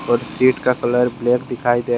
व सीट का colour black दिखाई दे रहा है।